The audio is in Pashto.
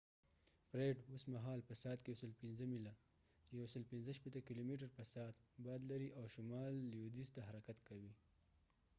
فریډ اوس مهال په ساعت کې 105 میله 165 کیلومتره/ساعت باد لري او شمال لوېدیځ ته حرکت کوي